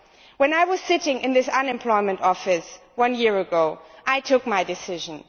When I was sitting in the unemployment office, one year ago, I took my decision.